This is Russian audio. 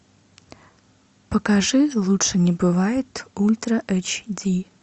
покажи лучше не бывает ультра эйч ди